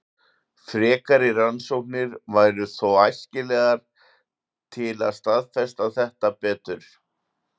frekari rannsóknir væru þó æskilegar til að staðfesta þetta betur